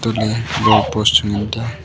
untohley gold post chu ngan taiya.